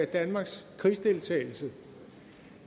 danmarks krigsdeltagelse